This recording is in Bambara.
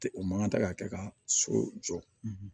Ten o man kan ka kɛ ka so jɔ